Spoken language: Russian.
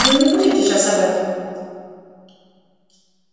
но не будем сейчас об этом